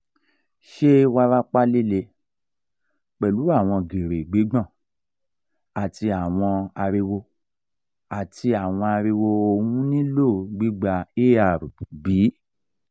ṣe warapa lile pẹlu awọn giri gbigbon ati awọn ariwo ati awọn ariwo ohun nilo gbigba er bi?